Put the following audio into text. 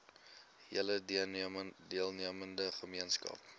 hele deelnemende gemeenskap